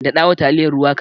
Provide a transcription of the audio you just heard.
Daɗawa taliyar ruwa kaɗan.